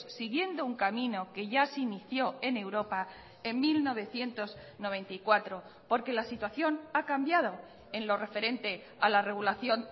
siguiendo un camino que ya se inició en europa en mil novecientos noventa y cuatro porque la situación ha cambiado en lo referente a la regulación